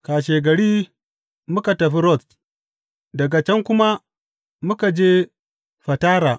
Kashegari muka tafi Rods daga can kuma muka je Fatara.